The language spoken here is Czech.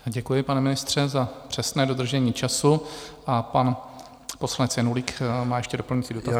Děkuji, pane ministře za přesné dodržení času, a pan poslanec Janulík má ještě doplňující dotaz.